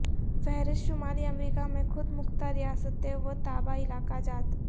فہرست شمالی امریکہ میں خود مختار ریاستیں و تابع علاقہ جات